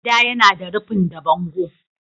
Gida yana da rufin da bango.